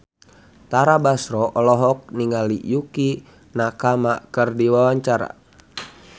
Tara Basro olohok ningali Yukie Nakama keur diwawancara